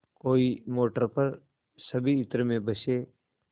कोई मोटर पर सभी इत्र में बसे